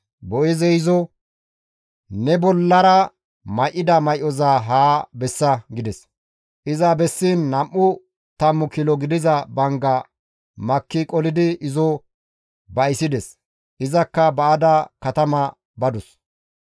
Boo7eezey izo, «Ne bollara may7ida may7oza haa bessa» gides. Iza bessiin nam7u tammu kilo gidiza bangga makki qolidi izo ba7issides. Izakka ba7ada katama badus.